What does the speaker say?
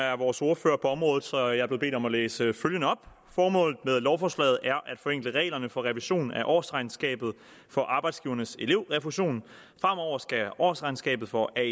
er vores ordfører på området så jeg er blevet bedt om at læse følgende op formålet med lovforslaget er at forenkle reglerne for revision af årsregnskabet for arbejdsgivernes elevrefusion fremover skal årsregnskabet for aer